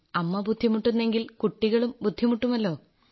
അമ്മ ബുദ്ധിമുട്ടുന്നു എങ്കിൽ കുട്ടികളും ബുദ്ധിമുട്ടുമല്ലോ